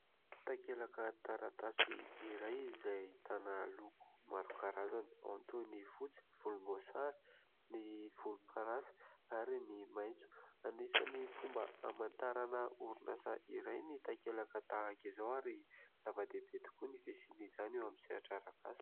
Takelaka taratasy iray izay ahitana loko maro karazany, ao ny toy ny fotsy, volomboasary, ny volomparasy ary ny maitso. Anisan'ny fomba hamantarana orinasa iray ny takelaka tahaka izao ary zava-dehibe tokoa ny fisian'izany eo amin'ny sehatra arak'asa.